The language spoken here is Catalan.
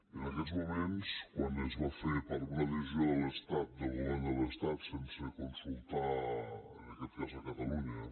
en aquests moments quan es va fer per una decisió de l’estat del govern de l’estat sense consultar en aquest cas catalunya